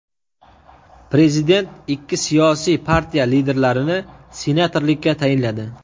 Prezident ikki siyosiy partiya liderlarini senatorlikka tayinladi.